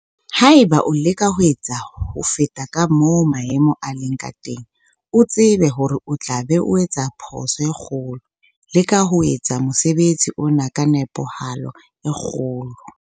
Ha eba o leka ho etsa ho feta ka moo maemo a leng ka teng, o tsebe hore o tla be o etsa phoso e kgolo. Leka ho etsa mosebetsi ona ka nepahalo e kgolo.